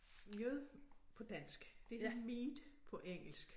Mjød på dansk det er mead på engelsk